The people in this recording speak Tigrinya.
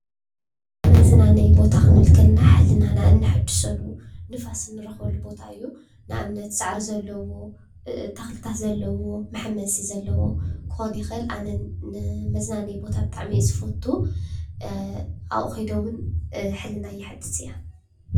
መዝናነይ ቦታ ክንብል ከለና ሕሊናና እንሐድሰሉ ንፋስ እንረክበሉ ቦታ እዩ፡፡ ንአብነት ሳዕሪ ዘለዎ፣ ተክልታት ዘለዎ፣ መሐመሲ ዘለዎ ክኮን ይክእል፡፡ አነ ንመዝናነይ ቦታ ብጣዕሚ እየ ዝፈቱ፡፡ አብኡ ከይደ’ውን ሕሊናይ የሐድስ እየ፡፡